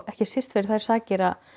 ekki síst fyrir þær sakir að